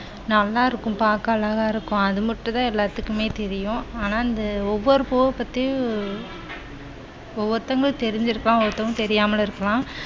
நல்லா இருக்கும். பார்க்க அழகா இருக்கும். அது மட்டும் தான் எல்லாத்துக்குமே தெரியும். ஆனா வந்து ஒவ்வொரு பூவ பத்தியும் ஒவ்வொருத்தவங்களுக்கும் தெரிஞ்சிருக்கும். ஒரு ஒருத்தவங்களுக்கு தெரியாமலும் இருக்கலாம்.